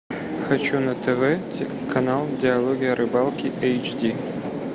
хочу на тв канал диалоги о рыбалке эйч ди